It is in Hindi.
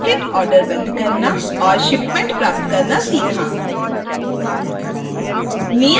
basket order बंद करना और shipment प्राप्त करना सीखा